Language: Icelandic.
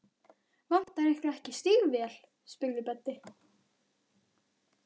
Vantar ykkur ekki stígvél? spurði Böddi.